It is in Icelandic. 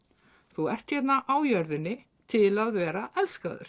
þú ert hérna á jörðinni til að vera elskaður